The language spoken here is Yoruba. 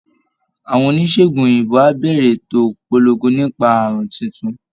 Àwọn oníṣègùn òyìnbó á bẹ̀rẹ̀ ètò ìpolongo nípa àrùn tuntun